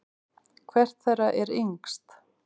Hvert þeirra er yngst?